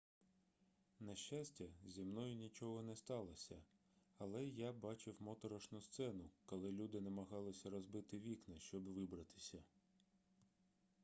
на щастя зі мною нічого не сталося але я бачив моторошну сцену коли люди намагалися розбити вікна щоб вибратися